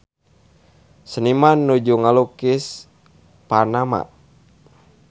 Seniman nuju ngalukis Panama